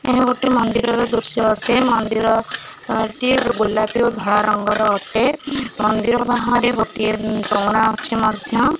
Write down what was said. ଏହା ଗୋଟେ ମନ୍ଦିରର ଦୃଶ୍ୟ ଅଟେ ମନ୍ଦିର ଏଟି ଗୋଲାପି ଓ ଧଳା ରଙ୍ଗର ଅଟେ ମନ୍ଦିର ବାହାରେ ଗୋଟେ ଚଉଁରା ଅଛି ମଧ୍ୟ।